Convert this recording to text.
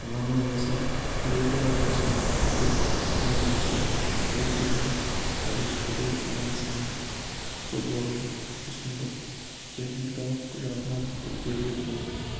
ғана ғасыр хореографиясының үздік туындысы петидің париж құдай анасының соборын ұсындық техникалық жағынан күрделі бұл